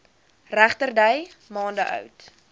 regterdy maande oud